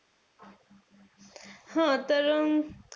हा तर,